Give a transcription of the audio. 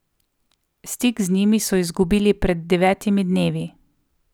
Stik z njimi so izgubili pred devetimi dnevi.